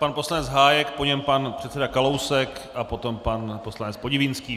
Pan poslanec Hájek, po něm pan předseda Kalousek a potom pan poslanec Podivínský.